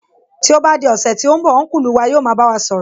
Tí ó bá di ọ̀sẹ̀ tí ó ń bọ̀, Ọ́nkùlù wa yóò máa bá wa sọ̀rọ̀